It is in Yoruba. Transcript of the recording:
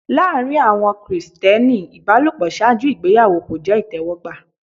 Láàrín àwọn Krìsìtẹ́nì ìbálòpọ̀ ṣáájú ìgbéyàwó kò jẹ́ ìtẹ́wọ́gbà.